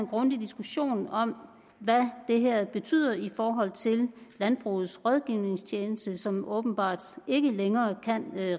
grundig diskussion om hvad det her betyder i forhold til landbrugets rådgivningstjeneste som åbenbart ikke længere kan